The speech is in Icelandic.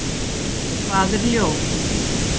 Hvað er ljóð?